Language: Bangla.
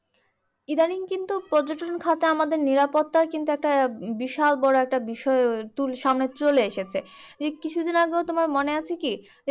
ইদানিং কিন্তু পর্যটক খাতে আমাদের নিরাপত্তার কিন্তু একটা বিশাল বড় একটা বিষয় সামনে চলে এসেছে। এইযে কিছু দিন আগে তোমার মনে আছে কি?